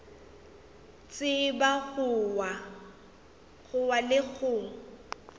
tseba go wa le go